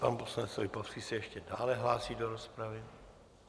Pan poslanec Lipavský se ještě dále hlásí do rozpravy.